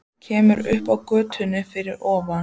Kemur upp á götuna fyrir ofan.